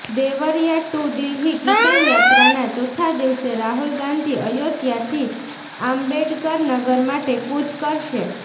Deoria to Delhi કિસાન યાત્રાના ચોથા દિવસે રાહુલ ગાંધી અયોધ્યાથી આંબેડકર નગર માટે કૂચ કરશે